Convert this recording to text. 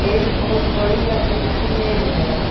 एक बहोत बड़ी लकड़ी की मेज है।